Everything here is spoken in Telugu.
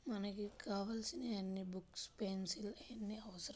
మనకి కావాల్సిన అన్ని బుక్స్ పెన్సిల్స్ అవసరం.